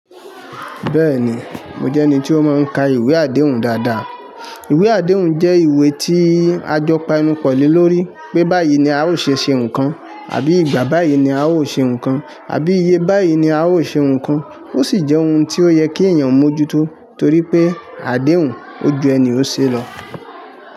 Bẹ́ẹ̀ni, mo jẹ́ ẹni tí ó máa ń ka ìwé àdéhùn dáadáa. Ìwé àdéhùn jẹ́ ìwé tí a jọ pa ẹnu pọ̀ lé lórí pé báyìí ni a o ṣe ṣe nǹkan, àbí ìgbà báyìí ni a ó ṣe nǹkan, àbí iye báyìí ni a ó ṣe nǹkan. Ó sì jẹ́ ohun tí ó yẹ kí èèyàn mójúto torí pé àdéhùn, ojú ẹni ó ṣe lọ.